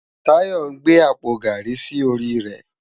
Tayo n gbé ápó gári si óri rè